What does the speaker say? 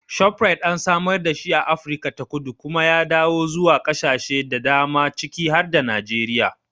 Shoprite an samar dashi a Afirka ta Kudu kuma ya yaɗo zuwa ƙasashe da dama ciki har da Najeriya.